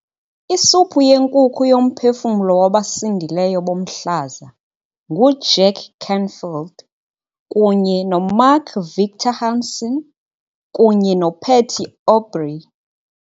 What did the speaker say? Isuphu yenkukhu yoMphefumlo wabasindileyo boMhlaza nguJack Canfield kunye noMark Victor Hansen kunye noPatty Aubery